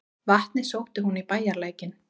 Vatnið sótti hún í bæjarlækinn.